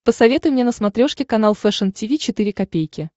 посоветуй мне на смотрешке канал фэшн ти ви четыре ка